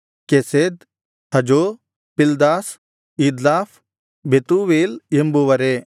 Chesed Hazo Pildash Jidlaph Bethuel ಎಂಬವರೇ